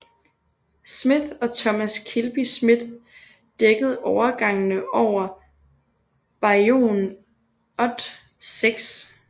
Smith og Thomas Kilby Smith dækkede overgangene over bayouen ot 6